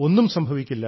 ഒന്നും സംഭവിക്കില്ല